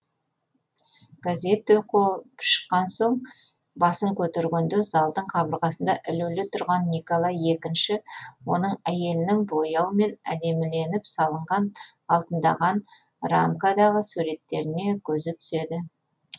газетті оқып шыққан соң басын көтергенде залдың қабырғасында ілулі тұрған николай екінші оның әйелінің бояумен әдеміленіп салынған алтындаған рамкадағы суреттеріне көзі түседі